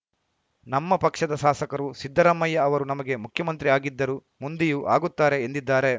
ನಮ್ಮ ಪಕ್ಷದ ಸಾಸಕರು ಸಿದ್ದರಾಮಯ್ಯ ಅವರು ನಮಗೆ ಮುಖ್ಯಮಂತ್ರಿ ಆಗಿದ್ದರು ಮುಂದೆಯೂ ಆಗುತ್ತಾರೆ ಎಂದಿದ್ದಾರೆ